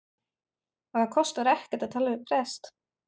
Og það kostar ekkert að tala við prest.